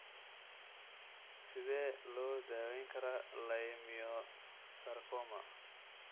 Sidee loo daweyn karaa leiomyosarcoma?